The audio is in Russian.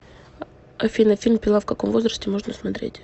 афина фильм пила в каком возрасте можно смотреть